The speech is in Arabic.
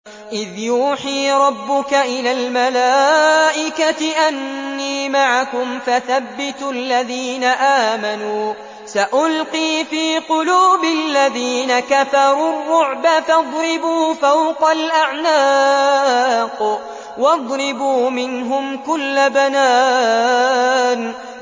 إِذْ يُوحِي رَبُّكَ إِلَى الْمَلَائِكَةِ أَنِّي مَعَكُمْ فَثَبِّتُوا الَّذِينَ آمَنُوا ۚ سَأُلْقِي فِي قُلُوبِ الَّذِينَ كَفَرُوا الرُّعْبَ فَاضْرِبُوا فَوْقَ الْأَعْنَاقِ وَاضْرِبُوا مِنْهُمْ كُلَّ بَنَانٍ